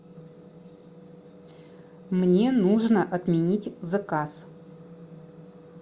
мне нужно отменить заказ